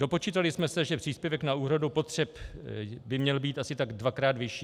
Dopočítali jsme se, že příspěvek na úhradu potřeb by měl být asi tak dvakrát vyšší.